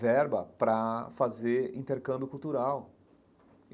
verba para fazer intercâmbio cultural.